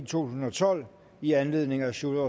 tusind og tolv i anledning af sjúrður